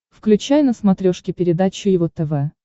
включай на смотрешке передачу его тв